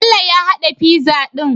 Bello ya hada pizza din?